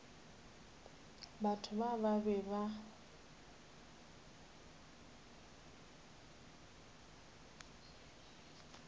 batho bao ba be ba